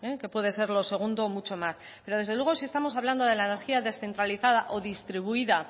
que puede ser lo segundo mucho más pero desde luego si estamos hablando de la energía descentralizada o distribuida